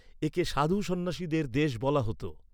একে সাধু সন্ন্যাসীদের দেশ বলা হত।